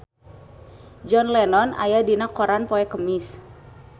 John Lennon aya dina koran poe Kemis